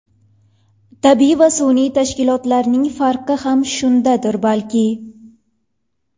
Tabiiy va sun’iy tashkilotlarning farqi ham shundadir balki.